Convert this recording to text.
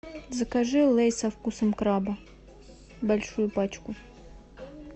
закажи лейс со вкусом краба большую пачку